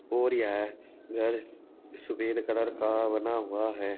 और यह घर सुफेद कलर का बना हुआ है।